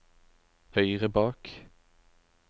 høyre bak